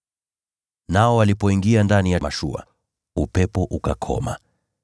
Nao walipoingia ndani ya mashua, upepo ukakoma.